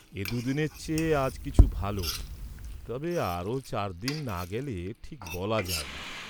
এ দুদিনের চেয়ে আজ কিছু ভাল, তবে আরো চার দিন না গেলে ঠিক বলা যায় না।